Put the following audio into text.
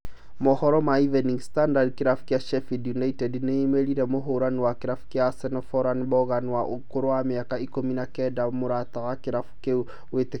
Mohoro ma Evening standard, kĩrabu kĩa Sheffield United nĩĩmĩrĩire mũhũrani wa kĩrabu kĩa Arsenal Folarin Balogun wa ũkũrũ wa mĩaka ikũmi na kenda, mũrũtani wa kĩrabu kĩu gwĩtĩkĩra